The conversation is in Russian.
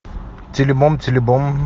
тили мом тили бом